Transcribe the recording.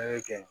A ye kɛ